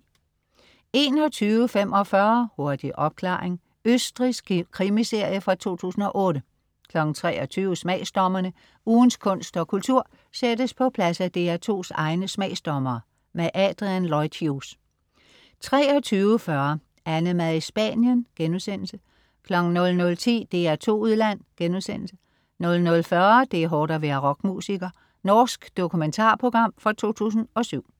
21.45 Hurtig opklaring. Østrigsk krimiserie fra 2008 23.00 Smagsdommerne. Ugens kunst og kultur sættes på plads af DR2s egne smagsdommere. Adrian Lloyd Hughes 23.40 AnneMad i Spanien* 00.10 DR2 Udland* 00.40 Det er hårdt at være rockmusiker. Norsk dokumentarprogram fra 2007